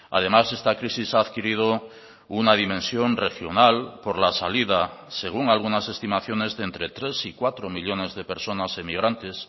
además esta crisis ha adquirido una dimensión regional por la salida según algunas estimaciones de entre tres y cuatro millónes de personas emigrantes